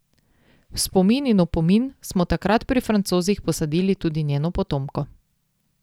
V spomin in opomin smo takrat pri Francozih posadili tudi njeno potomko.